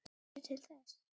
Veistu til þess?